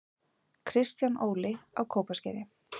Kristján Óli: Á Kópaskeri